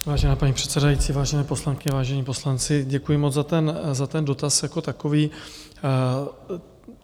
Vážená paní předsedající, vážené poslankyně, vážení poslanci, děkuji moc za ten dotaz jako takový.